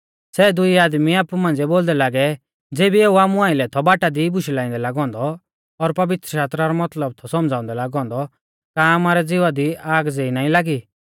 सै दुई आदमी आपु मांझ़िऐ बोलदै लागै ज़ेबी एऊ आमु आइलै थौ बाटा दी बुशै लाइंदै लागौ औन्दौ और पवित्रशास्त्रा रौ मतलब थौ सौमझ़ाउंदै लागौ औन्दौ का आमारै ज़िवा दी आग ज़ेई ना लागी